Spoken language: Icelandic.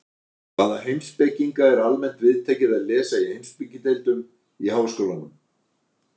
Hvaða heimspekinga er almennt viðtekið að lesa í heimspekideildum í háskólum?